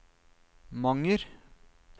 Manger